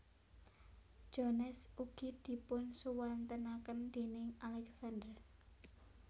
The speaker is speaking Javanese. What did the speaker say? Jones ugi dipunsuwantenaken déning Alexander